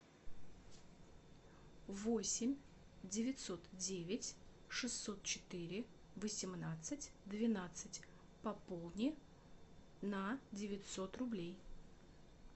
восемь девятьсот девять шестьсот четыре восемнадцать двенадцать пополни на девятьсот рублей